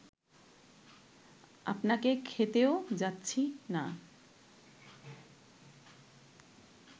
আপনাকে খেতেও যাচ্ছি না